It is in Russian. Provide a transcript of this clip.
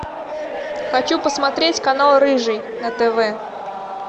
хочу посмотреть канал рыжий на тв